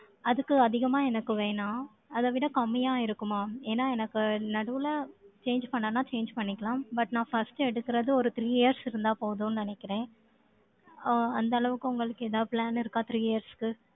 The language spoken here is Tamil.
அதுக்கு, அதிகமா எனக்கு வேணாம். அதை விட, கம்மியா இருக்குமா? ஏன்னா, எனக்கு நடுவுல, change பண்ணான்னா, change பண்ணிக்கலாம். But, நான் first எடுக்குறது, ஒரு three years இருந்தா, போதும்னு, நினைக்கிறேன். அஹ் அந்த அளவுக்கு, உங்களுக்கு, ஏதாவது plan இருக்கா, three years க்கு?